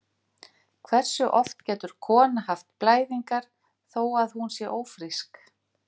Hversu oft getur kona haft blæðingar þó að hún sé ófrísk?